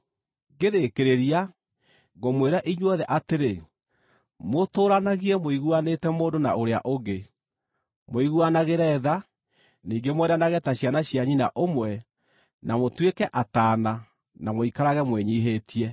Ngĩrĩkĩrĩria, ngũmwĩra inyuothe atĩrĩ, mũtũũranagie mũiguanĩte mũndũ na ũrĩa ũngĩ; mũiguanagĩre tha, ningĩ mwendanage ta ciana cia nyina ũmwe, na mũtuĩke ataana, na mũikarage mwĩnyiihĩtie.